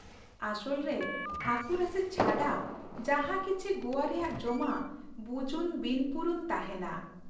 ᱟᱥᱚᱞ ᱨᱮ ᱦᱟᱹᱠᱩ ᱨᱟᱥᱮ ᱪᱷᱟᱰᱟ ᱡᱟᱦᱟᱸ ᱠᱤᱪᱷᱤ ᱜᱚᱣᱟ ᱨᱮᱭᱟᱜ ᱡᱚᱢᱟᱜ ᱵᱩᱡᱩᱱ ᱵᱤᱱᱯᱩᱨᱩᱱ ᱛᱟᱦᱮᱱᱟ ᱾